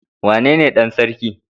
Wane ne Dan sarki?